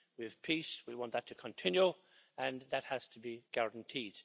We have peace, we want that to continue and that has to be guaranteed.